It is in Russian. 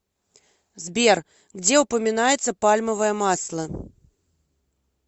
сбер где упоминается пальмовое масло